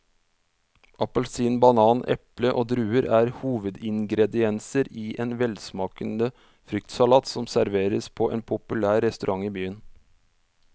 Appelsin, banan, eple og druer er hovedingredienser i en velsmakende fruktsalat som serveres på en populær restaurant i byen.